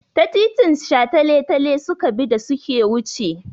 Ta titin shataletale suka bi da su ke wuce.